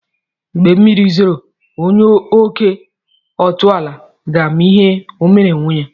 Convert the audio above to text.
Mgbe mmiri zoro, onye oke otula ga-ama ihe omere onwe ya.